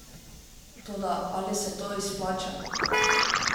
Toda ali se to izplača?